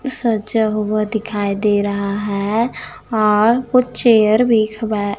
सजा हुआ दिखाई दे रहा है और कुछ चेयर भी खब--